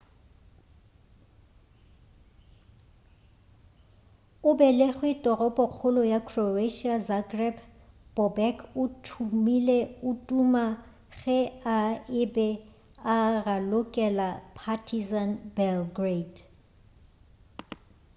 o belegwe toropokgolo ya croatia zagreb bobek o thomile go tuma ge a e be a ralokela partizan belgrade